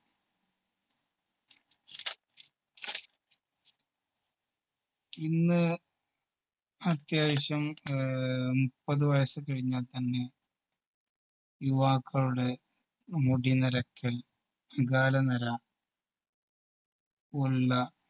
ഇന്ന് അത്യാവശ്യം ആഹ് ഉം കഴിഞ്ഞാൽ തന്നെ യുവാക്കളുടെ മുടി നരയ്ക്കൽ അകാലനര പോലുള്ള